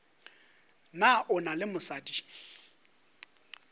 na o na le mosadi